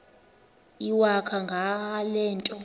iwakho ngale nto